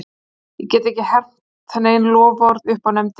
Ég get ekki hermt nein loforð upp á nefndina.